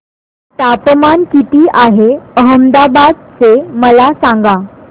तापमान किती आहे अहमदाबाद चे मला सांगा